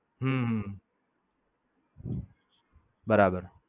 હમ બરાબર